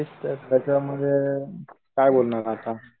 म तेच त्याच्यामुळे मग काय बोलणार आता